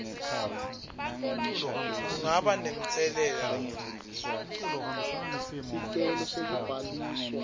kungaba namtselela muni